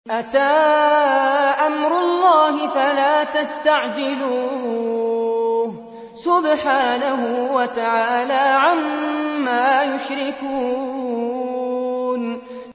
أَتَىٰ أَمْرُ اللَّهِ فَلَا تَسْتَعْجِلُوهُ ۚ سُبْحَانَهُ وَتَعَالَىٰ عَمَّا يُشْرِكُونَ